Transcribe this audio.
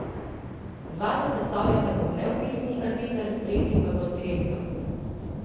Dva se predstavljata kot neodvisni arbiter, tretji pa kot direktor.